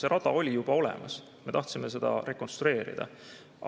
See rada oli seal juba olemas, me tahtsime seda rekonstrueerida.